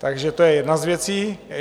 Takže to je jedna z věcí.